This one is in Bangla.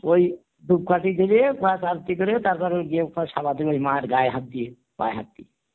ওই ধূপকাঠি জেলে তারপর ওই গিয়ে সারাদিন ওই মার গায়ে হাত দিয়ে পায় হাত দিয়ে